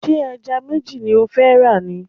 Ṣé ẹja méjì ni ó fẹ́ rà ni?